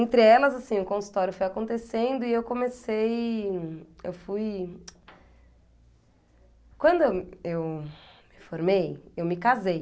Entre elas, assim, o consultório foi acontecendo e eu comecei, eu fui... Quando eu eu me formei, eu me casei.